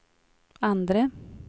andre